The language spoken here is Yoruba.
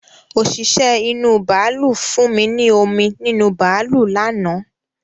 Òṣìṣẹ́ inú bàálù fún mi ní omi nínú bàálù lánàá